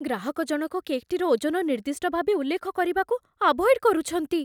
ଗ୍ରାହକଜଣକ କେକ୍‌ଟିର ଓଜନ ନିର୍ଦ୍ଦିଷ୍ଟ ଭାବେ ଉଲ୍ଲେଖ କରିବାକୁ ଆଭଏଡ୍ କରୁଛନ୍ତି।